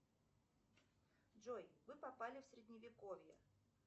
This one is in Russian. джой вы попали в средневековье